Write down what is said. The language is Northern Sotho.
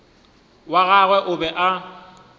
wa gagwe o be a